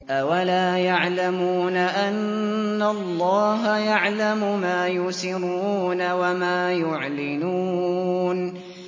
أَوَلَا يَعْلَمُونَ أَنَّ اللَّهَ يَعْلَمُ مَا يُسِرُّونَ وَمَا يُعْلِنُونَ